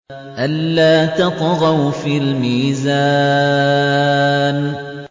أَلَّا تَطْغَوْا فِي الْمِيزَانِ